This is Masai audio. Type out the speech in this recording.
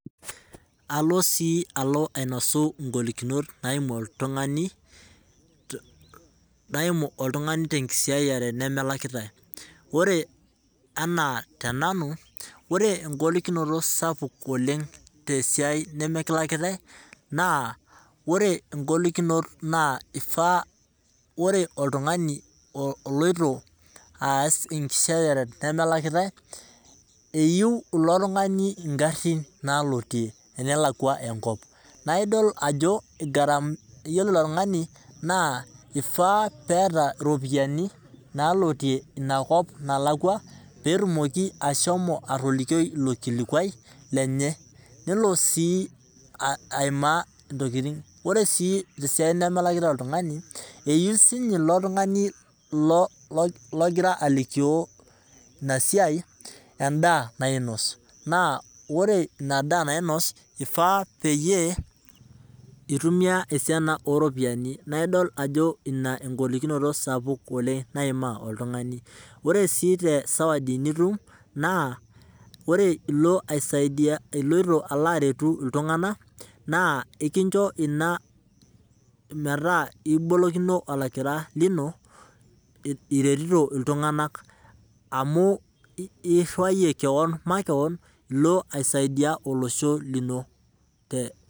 Alo sii alo ainosi igolikinot naimu oltung'ani naimu oltung'ani tee nkisaiyiare nemelakitae. Ore enaa tenanu, ore ogolikinoto sapuk oleng' nemikilakitae naa ore igolikinot naa ifaa ore oltung'ani oloito aas enkisiayere nemelakitae iyeu ilo tung'ani igarin nalotie enelakua enkop. Naa idol ajo iyiolo ilo tung'ani naa ifaa peeta iropianinaloitie ina kop nalakua petumoki ashomo atolikio ilo kilikuai kenye. Nelo sii aima intokitin. Oree aii isatin nemelakitae oltung'ani eyeu sii ninye ilo tung'ani logira alikio ina siai edaa nainos naa ore ina daa nainose eifaa peyie itumia esiana oropiani naa idol ajo ina egolikinoto sapuk aleng' naima iltung'ana. Oree sii sawadi nitum naa ore ilo ai saidia iloito aretu iltung'ana naa ekincho inaa meeta ikibolokino olakira lino iretito iltung'ana amu iriwayie keon makeon ilo ai saidia olosho lino te.